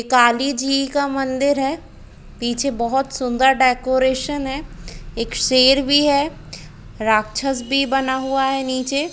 काली जी का मंदिर है पीछे बहुत सुन्दर डेकोरेशन है एक शेर भी है राक्षस भी बना हुआ है निचे।